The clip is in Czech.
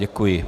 Děkuji.